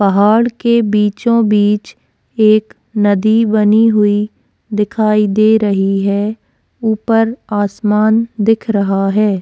पहाड़ के बीचो-बीच एक नदी बनी हुई दिखाई दे रही है उपर आसमान दिख रहा है।